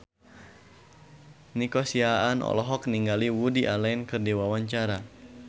Nico Siahaan olohok ningali Woody Allen keur diwawancara